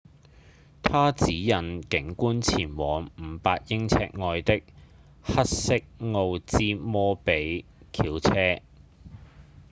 她指引警官前往500英尺外的黑色奧茲摩比 intrigue 轎車